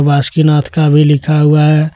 वासुकीनाथ भी लिखा हुआ है।